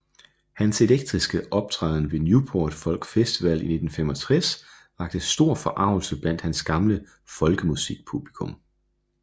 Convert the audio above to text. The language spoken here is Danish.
Hans elektriske optræden ved Newport Folk Festival i 1965 vakte stor forargelse blandt hans gamle folkemusikpublikum